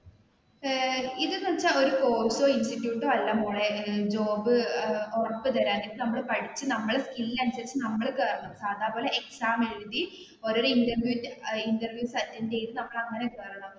ഏർ ഇത് എന്ന് വെച്ചാൽ ഒരു കോഴ്‌സോ, ഇൻസ്റ്റിറ്റ്യൂട്ട് അല്ല മോളെ ജോബ് ഏർ ഉറപ്പു തരാൻ നമ്മൾ പഠിച്ചു നമ്മുടെ സ്കില് അനുസരിച്ചു നമ്മൾ കേറണം സഥപോലെ എക്സാം എഴുതി ഓരോ ഇൻറർവ്യൂസ് അറ്റൻഡ് ചെയ്തു നമ്മൾ അങ്ങനെ കേറണം.